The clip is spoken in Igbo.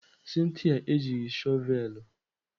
Cynthia ejighị shọvelụ.